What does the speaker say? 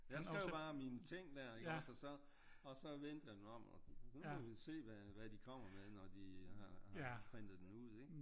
Jeg skrev bare mine ting der ikke også og så og så vendte jeg den om og så må vi se hvad de kommer med når de har printet den ud ik?